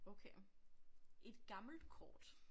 Okay et gammelt kort